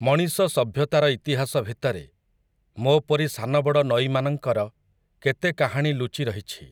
ମଣିଷ ସଭ୍ୟତାର ଇତିହାସ ଭିତରେ, ମୋ'ପରି ସାନବଡ଼ ନଈମାନଙ୍କର, କେତେ କାହାଣୀ ଲୁଚି ରହିଛି ।